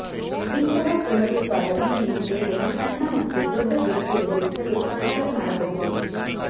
ಇಂತಹ ಪುನರುತ್ಪಾದನೆ ನೀವು ಬೇಗನೆ ಸಣ್ಣ ಮತ್ತು ದೊಡ್ಡ ಬಿರುಕು ಎದುರಿಸಲು ಸಹಾಯ ಮಾಡಬಹುದು